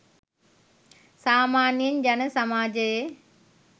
සාමාන්‍යයෙන් ජන සමාජයේ